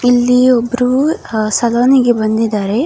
ಇಲ್ಲಿ ಒಬ್ರು ಸಲೂನ್ ಗೆ ಬಂದಿದ್ದಾರೆ .